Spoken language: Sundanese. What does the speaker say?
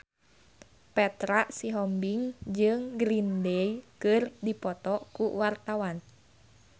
Petra Sihombing jeung Green Day keur dipoto ku wartawan